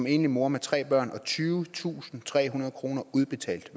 enlig mor med tre børn fattig tyvetusinde og trehundrede kroner udbetalt